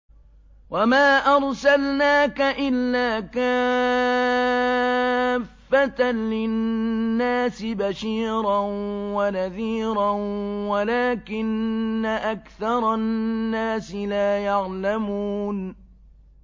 وَمَا أَرْسَلْنَاكَ إِلَّا كَافَّةً لِّلنَّاسِ بَشِيرًا وَنَذِيرًا وَلَٰكِنَّ أَكْثَرَ النَّاسِ لَا يَعْلَمُونَ